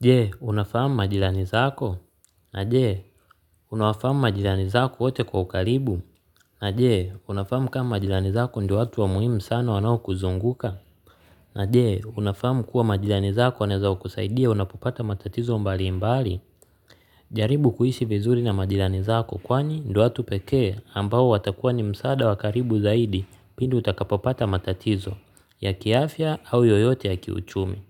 Je, unafahamu majirani zako? Na je, unawafahamu majirani zako wote kwa ukaribu? Na je, unafahamu kama majirani zako ndio watu wa muhimu sana wanaokuzunguka? Na je, unafahamu kuwa majirani zako waneza kukusaidia unapopata matatizo mbalimbali? Jaribu kuishi vizuri na majirani zako kwani ndio watu pekee ambao watakuwa ni msaada wakaribu zaidi pindi utakapopata matatizo ya kiafya au yoyote ya kiuchumi.